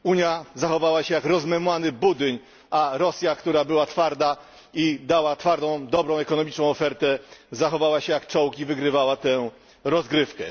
Unia zachowała się jak rozmemłany budyń, a Rosja, która była twarda i dała twardą ekonomiczną ofertę, zachowała się jak czołg, i wygrywała tę rozgrywkę.